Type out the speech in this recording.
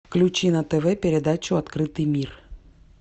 включи на тв передачу открытый мир